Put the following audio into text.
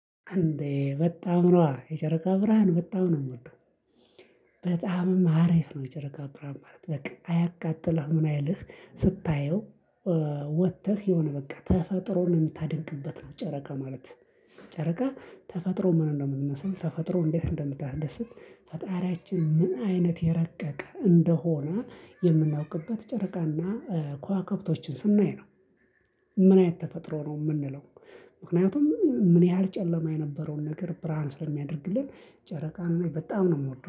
እንዴ በጣም ነዋ የጨረቃ ብርሃን በጣም ነው የምወደው። በጣምም አሪፍ ነው የጨረቃ ብርሃን። አያቃጥልህ ምን አይልህ ስታየው ወጥተህ የሆነ በቃ ተፈጥሮ ነው የምታደንቅበት ነው። ጨረቃ ማለት ጨረቃ ተፈጥሮ ምን እንደምመስል ተፈጥሮ እንዴት እንደምታስደስት ፈጣሪያችን ምን አይነት የረቀቀ እንደሆነ የምናውቅበት ጨርቃና ከዋክብቶችን ስናይ ነው። ምን አይነት ተፈጥሮ ነው የምንለው። ምክንያቱም ምን ያህል ጨለማ የነበረውን ነገር ብርሃን ስለሚያደርግልን ጨረቃን በጣም ነው የምወደው